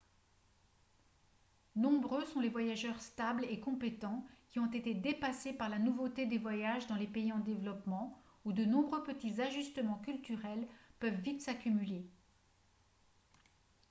nombreux sont les voyageurs stables et compétents qui ont été dépassés par la nouveauté des voyages dans les pays en développement où de nombreux petits ajustements culturels peuvent vite s'accumuler